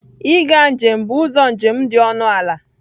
Ịga njem bụ ụzọ njem dị ọnụ ala.